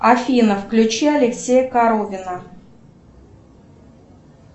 афина включи алексея коровина